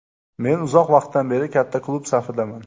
Men uzoq vaqtdan beri katta klub safidaman.